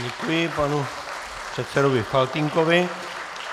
Děkuji panu předsedovi Faltýnkovi.